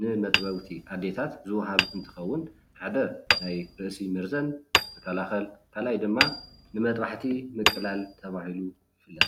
ንመጥወውቲ ኣዴታት ዝወሃብ እንትከውን ሓደ ናይ ርእሲ መርዘን ዝከላከል ካልኣይ ድማ ንመጥባሕቲ ምትላል ተባሂሉ ይፍለጥ፡፡